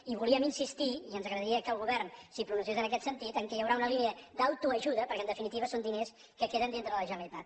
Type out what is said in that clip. i voldríem insistir i ens agradaria que el govern s’hi pronunciés en aquest sentit en el fet que hi haurà una línia d’autoajuda perquè en definitiva són diners que queden a la generalitat